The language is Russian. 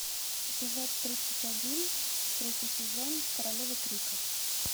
эпизод тридцать один третий сезон королевы крика